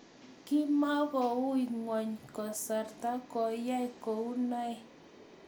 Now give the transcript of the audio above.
Kimokukoi nguny kasarta koyay kounoe.